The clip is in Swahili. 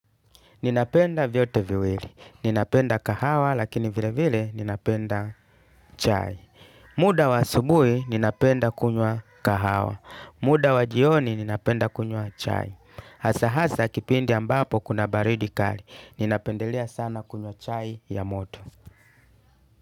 Ninapenda vyote viwili. Ninapenda kahawa lakini vile vile ninapenda chai. Muda wa asubui ninapenda kunywa kahawa. Muda wa jioni ninapenda kunywa chai. Hasa hasa kipindi ambapo kuna baridi kali. Ninapendelea sana kunywa chai ya moto.